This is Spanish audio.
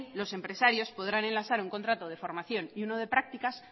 los empresarios podrán enlazar un contrato de formación y uno de prácticas